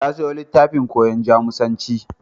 Ta sayo littafin koyon Jamusanci.